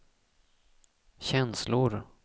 känslor